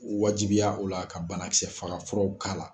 U wajibiya o la ka balakisɛ faga furaw k'ala.